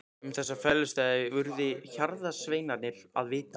Um þessa felustaði urðu hjarðsveinarnir að vita.